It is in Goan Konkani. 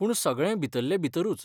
पूण सगळें भितरले भितरूच.